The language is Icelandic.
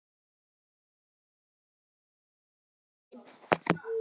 Írena, hvað er í matinn á fimmtudaginn?